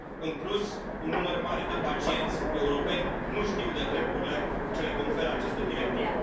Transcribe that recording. În plus, un număr mare de pacienți europeni nu știu de drepturile ce le conferă această directivă.